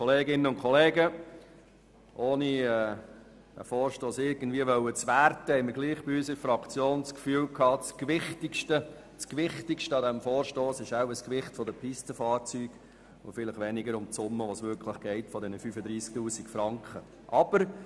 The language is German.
Ohne diesen Vorstoss irgendwie werten zu wollen, haben wir in der Fraktion das Gefühl, das Gewichtigste an diesem Vorstoss sei das Gewicht der Pistenfahrzeuge und weniger der Frankenbetrag von 35 000, um den es hier geht.